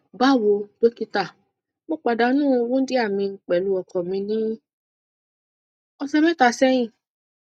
bawo dókítà mo pàdánù wundia mi pẹlú ọkọ mi ní ọsẹ mẹta sẹyìn